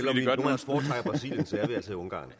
er ungarn